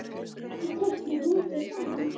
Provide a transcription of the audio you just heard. Og þið teiknið mikið saman?